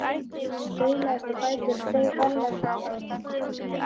Ég staulaðist á fætur og steig varlega upp á rúmið.